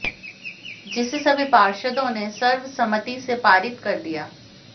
जिसे सभी पार्षदों ने सर्वसम्मति से पारित कर दिया